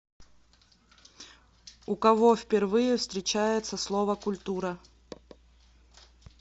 у кого впервые встречается слово культура